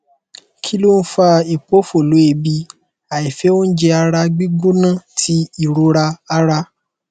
kí ló ń fa ipofolo eebì àìfẹ oúnjẹ ara gbigbona ti ìrora ara